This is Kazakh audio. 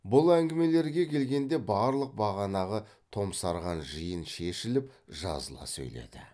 бұл әңгімелерге келгенде барлық бағанағы томсарған жиын шешіліп жазыла сөйледі